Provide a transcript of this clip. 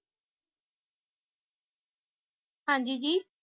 ਹਾਂ ਜੀ ਜੀ